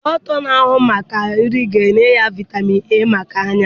Dọkịta na ahụ maka nri ga enye ya vitamin A maka anya